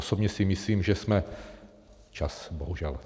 Osobně si myslím, že jsme - čas, bohužel...